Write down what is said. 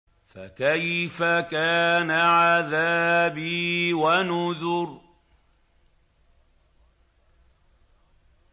فَكَيْفَ كَانَ عَذَابِي وَنُذُرِ